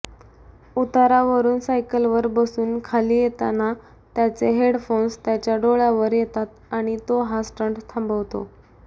उतारावरून सायकलवर बसून खाली येताना त्याचे हेडफोन्स त्याच्या डोळ्यावर येतात आणि तो हा स्टंट थांबवतो